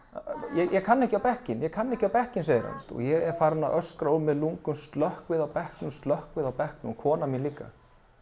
ég kann ekki á bekkinn ég kann ekki á bekkinn segir hann og ég er farinn að öskra úr mér lungun slökkvið á bekknum slökkvið á bekknum og konan mín líka